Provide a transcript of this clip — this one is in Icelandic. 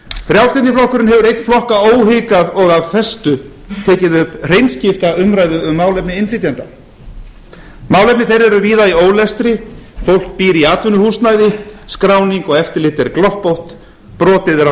frjálslyndi flokkurinn hefur einn flokka óhikað og af festu tekið upp hreinskipta umræðu um málefni innflytjenda málefni þeirra eru víða í ólestri fólk býr í atvinnuhúsnæði skráning og eftirlit er gloppótt brotið er á